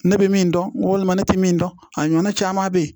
Ne bɛ min dɔn walima ne tɛ min dɔn a ɲɔn caman bɛ ye